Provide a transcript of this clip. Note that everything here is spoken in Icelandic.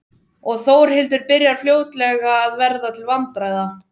Og Þórhildur byrjar fljótlega að verða til vandræða.